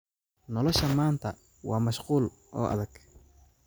Nolosha maanta waa mashquul oo adag.